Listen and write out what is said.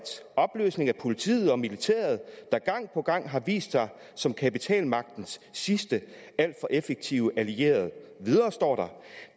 opløsning af politiet og militæret der gang på gang har vist sig som kapitalmagtens sidste alt for effektive allierede